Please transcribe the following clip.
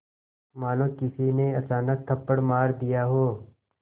मानो किसी ने अचानक थप्पड़ मार दिया हो